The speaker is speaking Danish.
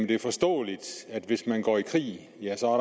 det er forståeligt at hvis man går i krig ja så er